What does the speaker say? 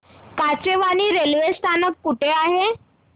Kachewani railway स्थानक कुठे आहे